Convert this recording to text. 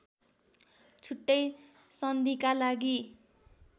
छुट्टै सन्धिका लागि